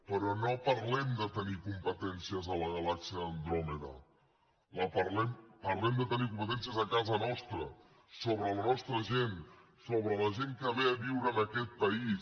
però no parlem de tenir competències a la galàxia d’andròmeda parlem de tenir competències a casa nostra sobre la nostra gent sobre la gent que ve a viure en aquest país